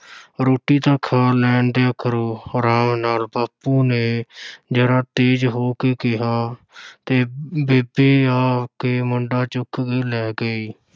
ਰੋਟੀ ਤਾਂ ਖਾ ਲੈਣ ਦਿਆ ਕਰੋ, ਅਰਾਮ ਨਾਲ, ਬਾਪੂ ਨੇ ਜ਼ਰਾ ਤੇਜ਼ ਹੋ ਕੇ ਕਿਹਾ ਤੇ ਬੇਬੇ ਆ ਕੇ ਮੁੰਡਾ ਚੁੱਕ ਕੇ ਲੈ ਗਈ।